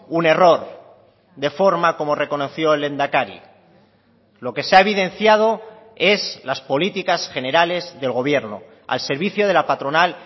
un error de forma como reconoció el lehendakari lo que se ha evidenciado es las políticas generales del gobierno al servicio de la patronal